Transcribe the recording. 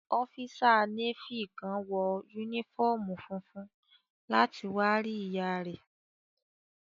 Ọ́físà Nééfì kan wọ yúnífọ́ọ̀mù funfun láti wá rí ìyá rẹ̀